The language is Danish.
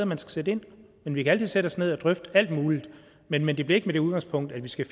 man skal sætte ind men vi kan altid sætte os ned og drøfte alt muligt men men det bliver ikke med det udgangspunkt at vi skal